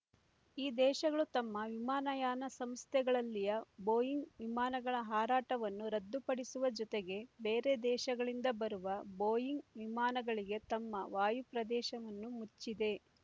ಈ ದೇಶಗಳು ತಮ್ಮ ವಿಮಾನಯಾನ ಸಂಸ್ಥೆಗಳಲ್ಲಿಯ ಬೋಯಿಂಗ್ ವಿಮಾನಗಳ ಹಾರಾಟವನ್ನು ರದ್ದು ಪಡಿಸುವ ಜೊತೆಗೆ ಬೇರೆ ದೇಶಗಳಿಂದ ಬರುವ ಬೋಯಿಂಗ್ ವಿಮಾನಗಳಿಗೆ ತಮ್ಮ ವಾಯುಪ್ರದೇಶವನ್ನು ಮುಚ್ಚಿದೆ